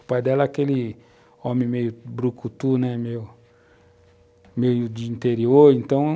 O pai dela é aquele homem meio brucutu, né, meio de interior, então